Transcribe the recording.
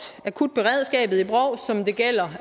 som det gælder